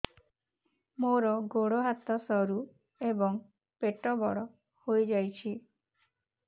ମୋର ଗୋଡ ହାତ ସରୁ ଏବଂ ପେଟ ବଡ଼ ହୋଇଯାଇଛି